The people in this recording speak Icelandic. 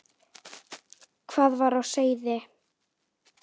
Hvað var á seyði?